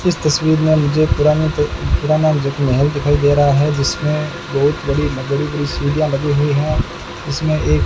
इस तस्वीर में मुझे पुराने ते पुराना जो महल दिखाई दे रहा है जिसमें बहुत बड़ी बड़ी बड़ी सीढ़ियां लगी हुई हैं इसमें एक --